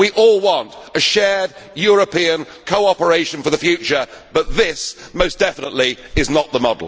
Yes, sir. We all want a shared European cooperation for the future, but this most definitely is